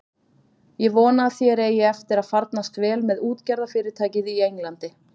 Ég vona að þér eigi eftir að farnast vel með útgerðarfyrirtækið í Englandi.